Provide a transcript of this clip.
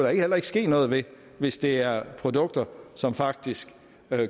heller ikke ske noget ved hvis det er produkter som faktisk